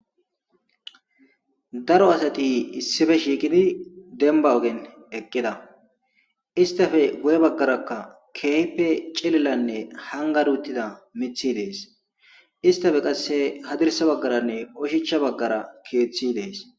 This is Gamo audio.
daro asati issife shiiqidi demba ogen eqqida istafe guye baggarakka kehipe cililanne hangari uttida mithi dees istafe qasse hadirsa baggaranne oshicha baggara keeththi dees